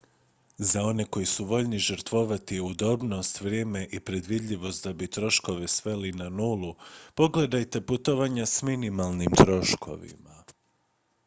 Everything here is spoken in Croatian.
za one koji su voljni žrtvovati udobnost vrijeme i predvidljivost da bi troškove sveli na nulu pogledajte putovanja s minimalnim troškovima